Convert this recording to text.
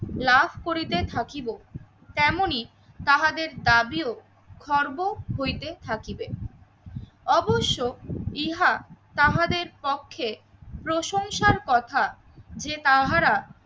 লাভ করিতে থাকিবো তেমনই তাহাদের দাবিও খর্ব হইতে থাকিবে। অবশ্য ইহা তাহাদের পক্ষে প্রশংসার কথা যে তাহারা